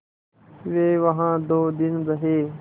वे वहाँ दो दिन रहे